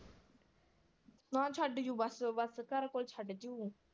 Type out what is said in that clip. ਨਾ ਛੱਡ ਜੂ bus bus ਘਰ ਕੋਲ ਛੱਡ ਜੂ।